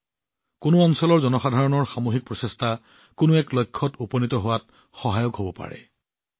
যিকোনো লক্ষ্যত উপনীত হলেই এটা অঞ্চলৰ জনসাধাৰণৰ সামূহিক ইচ্ছাশক্তি দেখুৱাব পাৰি